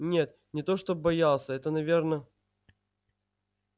нет не то чтобы боялся это наверно